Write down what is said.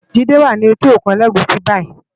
Jide wá ni éti ókún Elegushi bàyí